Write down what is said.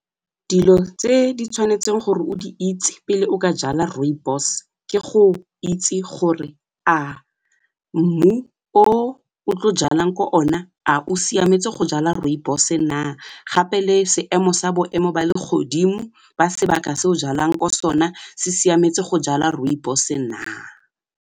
Dilo tse di tshwanetseng gore o di itse pele o ka jala rooibos ke go itse gore a mmu o o tlo jalang ko one a o siametse go jala rooibos-e na gape le seemo sa boemo ba legodimo ba sebaka se o jalang ko sone se siametse go jala rooibos-e na.